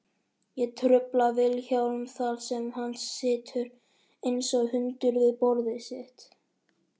Ég trufla Vilhjálm þar sem hann situr einsog hundur við borðið sitt.